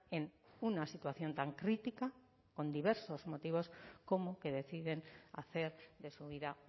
en una situación tan crítica con diversos motivos como que deciden hacer de su vida